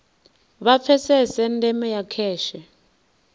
vha pfesese ndeme ya kheshe